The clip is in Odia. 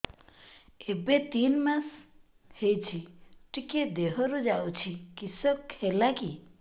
ଏବେ ତିନ୍ ମାସ ହେଇଛି ଟିକିଏ ଦିହରୁ ଯାଉଛି କିଶ ହେଲାକି